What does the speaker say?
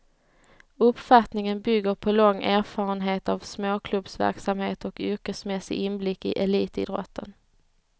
Uppfattningen bygger på lång erfarenhet av småklubbsverksamhet och yrkesmässig inblick i elitidrotten.